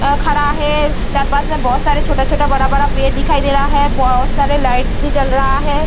अखाड़ा है चार पास में बहुत सारा छोटा-छोटा बड़ा-बड़ा पेड़ दिखाई दे रहा है बहुत सारे लाइट्स भी जल रहा है ।